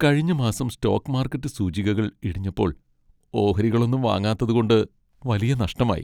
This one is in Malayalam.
കഴിഞ്ഞ മാസം സ്റ്റോക്ക് മാർക്കറ്റ് സൂചികകൾ ഇടിഞ്ഞപ്പോൾ ഓഹരികളൊന്നും വാങ്ങാത്തതു കൊണ്ട് വലിയ നഷ്ടമായി.